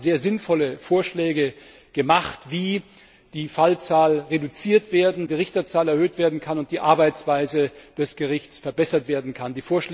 Wir haben sehr sinnvolle Vorschläge gemacht, wie die Fallzahlen reduziert, die Richterzahl erhöht und die Arbeitsweise des Gerichts verbessert werden kann.